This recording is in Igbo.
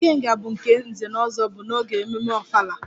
ikenga' bụ nke nze-na-ozo bu n'oge mmemme ofala